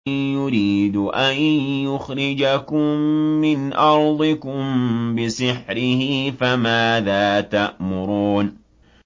يُرِيدُ أَن يُخْرِجَكُم مِّنْ أَرْضِكُم بِسِحْرِهِ فَمَاذَا تَأْمُرُونَ